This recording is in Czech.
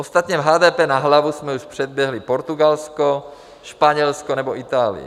Ostatně v HDP na hlavu jsme už předběhli Portugalsko, Španělsko nebo Itálii.